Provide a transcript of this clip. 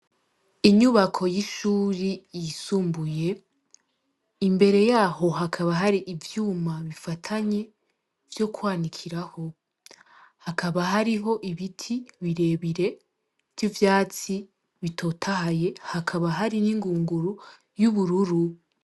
Inyubako y'ishure yisumbuye, imbere yaho hakaba hari ivyuma bifatanye vyo kwanikiraho. Hakaba hariho ibiti birebire vy'ivyatsi bitotahaye, hakaba hari n'ingunguru y'ubururu.